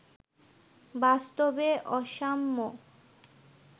বাস্তবে অসাম্য